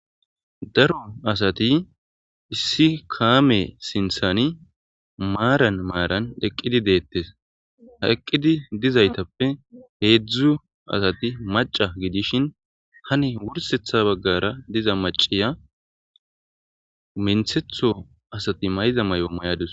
Daro asati issi kame sinthan maran maran eqidi detese eqidi dizaytappe hedzu asati maca gidishin han wursetha bagara diza maciya minthetho asati mayiza mayo mayadusu